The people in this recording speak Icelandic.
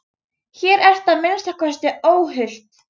Hér ertu að minnsta kosti óhult.